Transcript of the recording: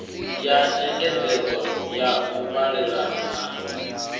ya nyengedzedzo ya muvhalelano na